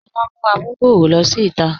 Olà mú àmùgbọ̀rọ̀ ló sí ìtà.